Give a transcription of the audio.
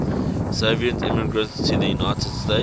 soviet immigrants to the united states